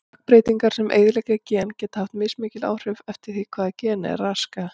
Stökkbreytingar sem eyðileggja gen geta haft mismikil áhrif eftir því hvaða geni þær raska.